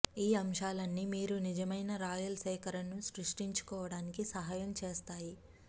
ఈ అంశాలన్నీ మీరు నిజమైన రాయల్ సేకరణను సృష్టించుకోవటానికి సహాయం చేస్తాయి